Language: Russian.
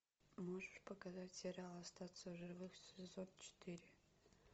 можешь показать сериал остаться в живых сезон четыре